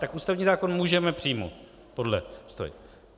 Tak ústavní zákon můžeme přijmout podle Ústavy.